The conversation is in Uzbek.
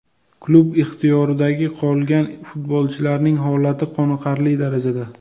Klub ixtiyoridagi qolgan futbolchilarning holati qoniqarli darajada.